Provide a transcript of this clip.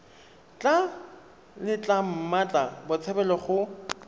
tla letla mmatla botshabelo go